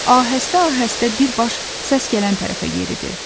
Ahəstə-ahəstə birbaş səs gələn tərəfə yeridi.